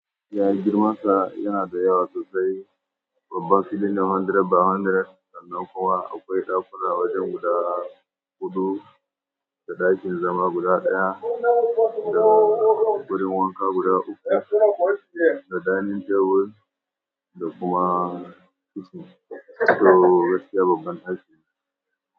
Yaya girmansa yana da yawa sosai? Babban fili ne ɗari by ɗari sannan kuma akwai ɗakuna wajen guda huɗu da ɗakin zama guda ɗaya da wurin wanka guda uku, da dining table, da kuma kitchen. To, gaskiya babban aiki ne.